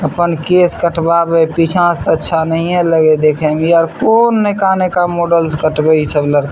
अपन केस कटवाबे हेय पीछा से ते अच्छा नहिये लगे हेय देखे मे इ आर कोन नयका नयका मॉडल से कटवाए छै इ सब लड़का --